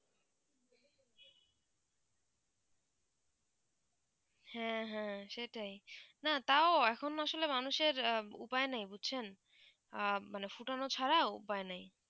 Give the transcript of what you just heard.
হেঁ হেঁ সেটাই না তও এখন আসলে মানুষের উপায় নেই বুঝছেন আ মানে ফুটানো ছাড়া উপায় নেই